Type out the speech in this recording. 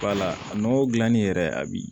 Wala nɔgɔ dilanni yɛrɛ abi